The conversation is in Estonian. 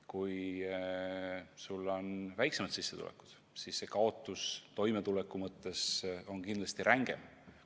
Kui sul on väiksem sissetulek, siis on see kaotus toimetuleku mõttes kindlasti päris ränk.